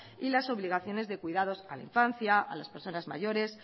y las obligaciones de cuidado a la infancia a las personas mayores